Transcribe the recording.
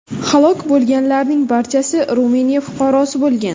Halok bo‘lganlarning barchasi Ruminiya fuqarosi bo‘lgan.